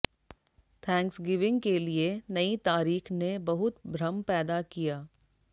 Thanksgiving के लिए नई तारीख ने बहुत भ्रम पैदा किया